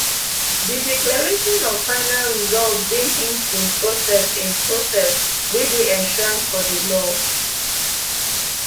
di declaration of final results dey hinged in process in process wey dey enshrined for di law